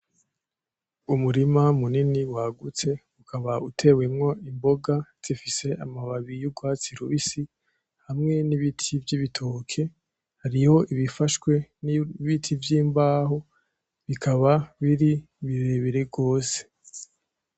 Umurima munini wagutse ukaba utewemwo imboga zifise amababi y'urwatsi rubisi, hamwe nibiti vyibitoke, hariho ibifashwe nimbaho bikaba biri birebire gose.